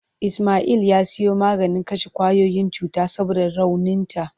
Ismail ya siyo maganin kashe kwayoyin cuta saboda rauninta.